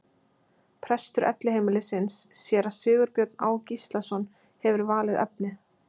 Prestur Elliheimilisins, séra Sigurbjörn Á. Gíslason, hefur valið efnið.